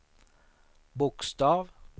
bokstav